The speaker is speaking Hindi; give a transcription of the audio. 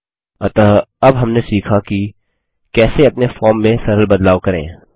अतः अब हमने सीखा कि कैसे अपने फॉर्म में सरल बदलाव करें